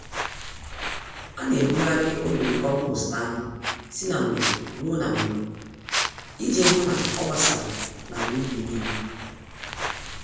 Ana ebugharị olulu kompost anyị si na mgbe ruo na mgbe iji hụ n'ọgbasara n'ala ubi nílé.